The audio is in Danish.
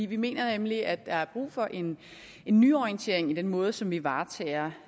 vi mener nemlig at der er brug for en nyorientering i den måde som vi varetager